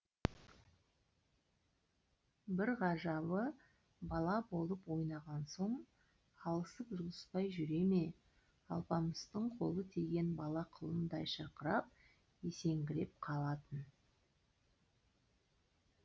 бір ғажабы бала болып ойнаған соң алысып жұлыспай жүре ме алпамыстың қолы тиген бала құлындай шырқырап есеңгіреп қалатын